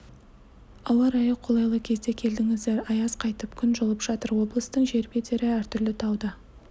ауа-райы қолайы кезде келдіңіздер аяз қайтып күн жылып жатыр облыстың жер бедері әртүрлі тау да